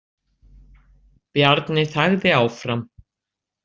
Bjarni þagði áfram.